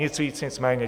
Nic víc, nic méně.